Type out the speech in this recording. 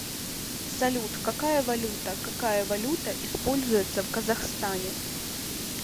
салют какая валюта какая валюта используется в казахстане